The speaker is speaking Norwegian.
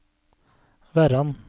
Verran